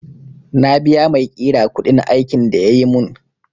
Na biya maiƙira kuɗin aikin da yayi mun